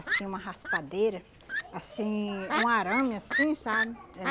Assim, uma raspadeira, assim, um arame assim, sabe? Eh